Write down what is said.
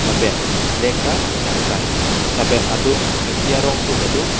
lapen flag ta chetar krai lapen adung thengpi arong so tado.